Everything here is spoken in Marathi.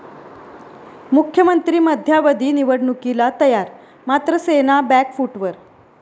मुख्यमंत्री मध्यावधी निवडणुकीला तयार, मात्र सेना बॅकफुटवर